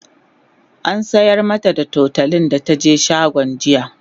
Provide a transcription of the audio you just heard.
an sayar mata da tutolin da taje shagon jiya